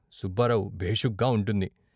సుబ్బారావు భేషుగ్గా ఉంటుంది.